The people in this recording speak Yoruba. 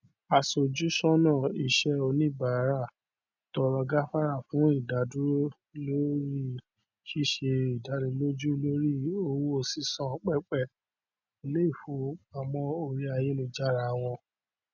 aṣòjúsọnà iṣẹ oníbàrà tọrọ gáfárà fún ìdádúró lórí ṣíṣe dánilójú lórí owó sísan pẹpẹ iléifowopamọ orí ayélujára wọn